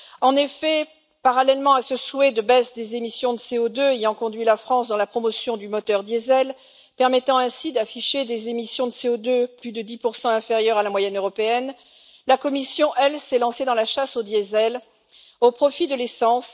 En effet, parallèlement à ce souhait de baisse des émissions de CO2 ayant conduit la France à promouvoir le moteur diesel, ce qui lui permet d'afficher des émissions de CO2 plus de 10 inférieure à la moyenne européenne, la Commission, elle, s'est lancée dans la chasse au diesel au profit de l'essence.